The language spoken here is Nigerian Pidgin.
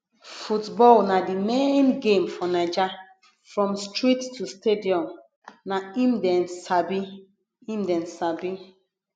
football na di main game for naija from street to stadium na im dem sabi im dem sabi